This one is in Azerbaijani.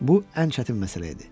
Bu ən çətin məsələ idi.